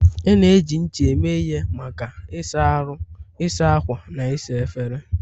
A na-eji ncha eme ihe maka ịsa ahụ, ịsa ákwà, na ịsa efere.